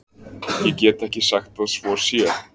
Ég get ekki sagt að svo sé.